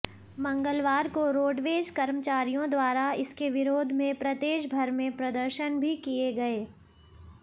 मंगलवार को रोडवेज कर्मचारियों द्वारा इसके विरोध में प्रदेशभर में प्रदर्शन भी किए गए